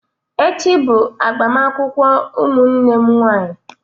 Echi bụ agbamakwụkwọ ụmụnne m nwanyị.